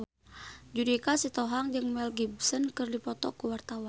Judika Sitohang jeung Mel Gibson keur dipoto ku wartawan